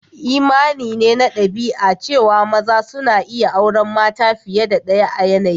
Imani ne na dabi'a cewa maza suna iyi auren mata fiye da daya a yanayi.